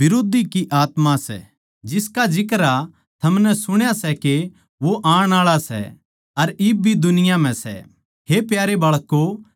हे प्यारे बाळकों थम परमेसवर के लोग सों अर थमनै झूठ्ठे नबियाँ पै जीत पाई सै क्यूँके पवित्र आत्मा जो थारै म्ह बसै सै वो शैतान तै बड्ड़ा सै जो इस दुनिया म्ह सै